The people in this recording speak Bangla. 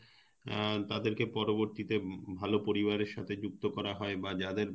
অ্যাঁ তাদের কে পরবর্তিতে ভাল পরিবারের সাথে যুক্ত করা হয় বা যাদের